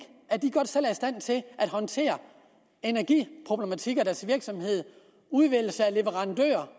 at de godt selv er i stand til at håndtere energiproblematikker i deres virksomhed udvælgelse af leverandører